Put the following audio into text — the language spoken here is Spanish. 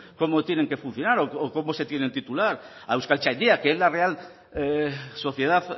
cómo tienen que funcionar o cómo se tiene titular a euskaltzaindia que es la real sociedad